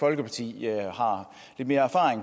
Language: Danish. har subsidieret